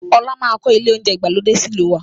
Ọlá máa kọ ilé oúnjẹ ìgbàlódé sì ìlú waa